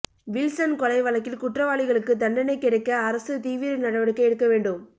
Wilson கொலை வழக்கில் குற்றவாளிகளுக்கு தண்டனை கிடைக்க அரசு தீவிர நடவடிக்கை எடுக்க வேண்டும்